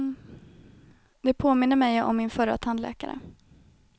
De påminner mig om min förra tandläkare.